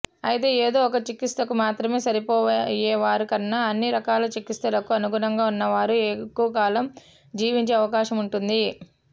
అయితే ఏదో ఒక చికిత్సకు మాత్రమే సరిపోయేవారి కన్నా అన్ని రకాల చికిత్సలకు అనుగుణంగా ఉన్నవారు ఎక్కువకాలం జీవించే అవకాశముంటుంది